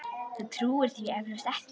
Þú trúir því eflaust ekki.